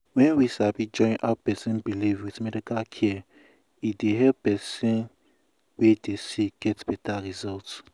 wen we sabi join how person believe with medical care e dey help person wey dey sick get beta result.